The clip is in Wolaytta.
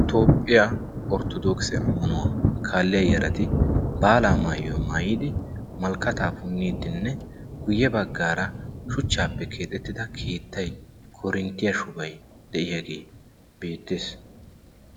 toophphiyaa orttodookise ammanuwaa kaalliya yarati baalaa maayuwa maayiidi malkkataa punniiddinne guyye baggaara shuchchaappe keexettida kiittay korinttiyaa shubay de'iyaagee beettees